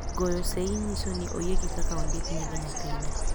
goyo seyi nyiso ni oyiegi kaka ondik nying nyathine